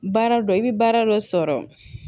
Baara dɔ i bɛ baara dɔ sɔrɔ